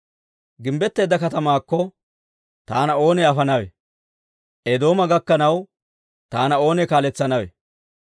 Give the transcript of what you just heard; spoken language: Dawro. Gimbbetteedda katamaakko, taana oonee afanawe? Eedooma gakkanaw taana oonee kaaletsanawe?